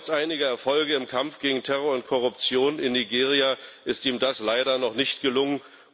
Trotz einiger Erfolge im Kampf gegen Terror und Korruption in Nigeria ist ihm das leider noch nicht gelungen.